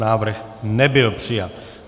Návrh nebyl přijat.